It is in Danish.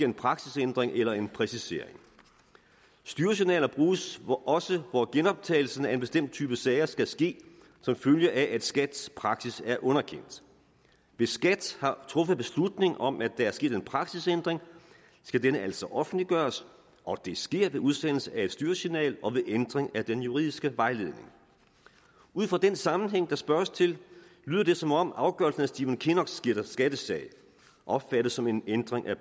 en praksisændring eller en præcisering styresignaler bruges også hvor genoptagelsen af en bestemt type sager skal ske som følge af at skats praksis er underkendt hvis skat har truffet beslutning om at der er sket en praksisændring skal denne altså offentliggøres og det sker ved udsendelsen af et styresignal og ved ændring af den juridiske vejledning ud fra den sammenhæng der spørges til lyder det som om afgørelsen af stephen kinnocks skattesag opfattes som en ændring af